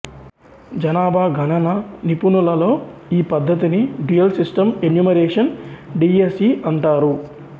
జనాభా గణన నిపుణులలో ఈ పద్ధతిని dual system enumeration D S E అంటారు